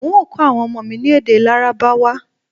N ó kọ awọn ọmọ mi ní èdè lárábáwá